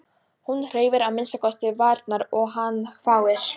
Hún hreyfir að minnsta kosti varirnar og hann hváir.